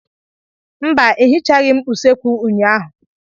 Mba, ehichaghị m usekwu ụnyaahụ.